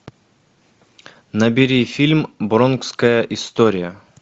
набери фильм бронкская история